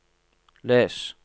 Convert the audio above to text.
les